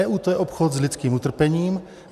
EU - to je obchod s lidským utrpením.